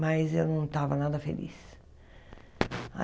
Mas eu não estava nada feliz.